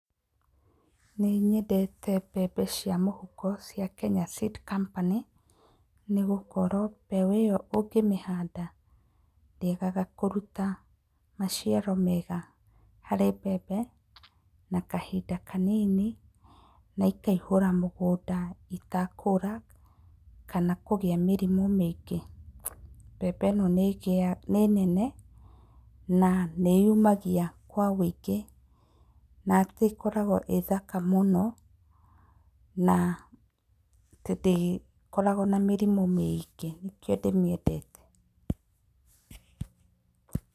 Nĩ nyendete mbembe cia mũhuko cia Kenya Seed Company, nĩgũkorwo mbegũ ĩyo ũngĩmĩhanda ndĩagaga kũruta maciaro mega harĩ mbembe na kahinda kanini na ikaihũra mũgũnda itekũra kana kũgĩa mĩrimũ mĩingĩ, mbembe ĩno nĩ nene na nĩ yumagia kwa wĩingĩ na nĩ ĩkoragwo ĩĩ thaka mũno na tondũ ndĩkorogwo na mĩrimũ mĩingĩ nĩkĩo ndĩmĩendete.